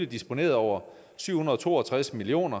disponeret over syv hundrede og to og tres million